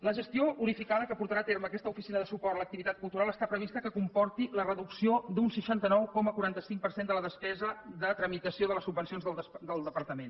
la gestió unificada que portarà a terme aquesta oficina de suport a l’activitat cultural està previst que comporti la reducció d’un seixanta nou coma quaranta cinc per cent de la despesa de tramitació de les subvencions del departament